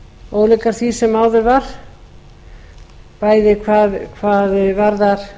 ólíkar því sem áður var bæði hvað varðar